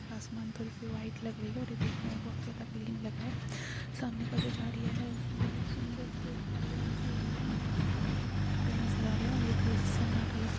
आसमान थोड़ी सी वाइट लग रही है और ये देखने में बहुत ज्यादा क्लीन लग रहा है सामने का जो झाड़ियां है उसमे बहुत सुन्दर से झाड़ियां उगी हुई है और इसमें बहुत ज्यादा पत्ते नजर आ रहे है और ये थोड़ी सी सन्नाटा लग--